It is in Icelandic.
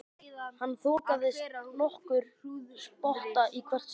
Hann þokaðist nokkurn spotta í hvert sinn.